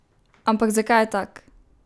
Ampak zakaj je tak?